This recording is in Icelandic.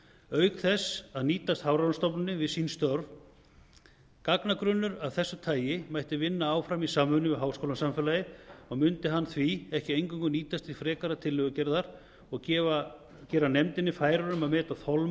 auk þess að nýtast hafrannsóknastofnunninni við sín störf gagnagrunn af þessu tagi mætti vinna áfram í samvinnu við háskólasamfélagið og mundi hann því ekki eingöngu nýtast til frekari tillögugerðar og gera nefndina færari um að meta